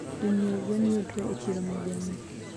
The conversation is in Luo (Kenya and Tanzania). Jonyie gwen yudre e chiro ma gweng'ni